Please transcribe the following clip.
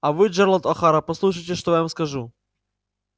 а вы джералд охара послушайте что я вам скажу